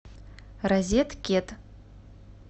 розет кет